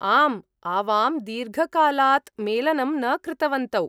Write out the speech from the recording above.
आम्, आवां दीर्घकालात् मेलनं न कृतवन्तौ।